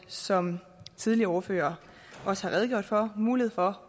som tidligere ordførere også har redegjort for mulighed for